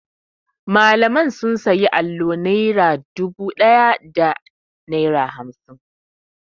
Malamai sun sayi allo naira dubu da naira hamsin.